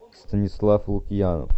станислав лукьянов